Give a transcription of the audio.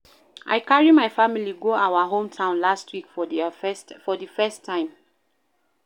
I carry my family go our hometown last week for the first time